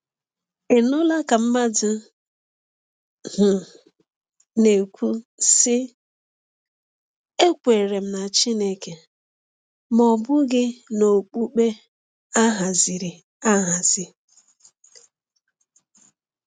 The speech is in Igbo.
Ị nụla ka mmadụ um na-ekwu, sị: “Ekwere m na Chineke ma ọ bụghị n’okpukpe a haziri ahazi”?